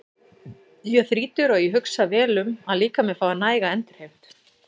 Ég er þrítugur og ég hugsa vel um að líkaminn fái næga endurheimt.